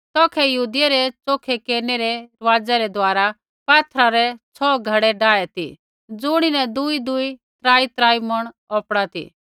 तौखै यहूदियै रै च़ोखै केरनै रै रिवाज़ा रै दुआरा पात्थरा रै छौ घड़ै डाये ती ज़ुणीन दुईदुई त्रात्रा मूंण औपड़ा ती